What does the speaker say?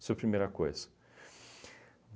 Isso primeira coisa.